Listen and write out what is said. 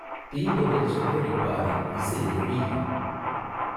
தீந்தொடைச் செவ்வழிப் பாலை இசைஎழீஇப்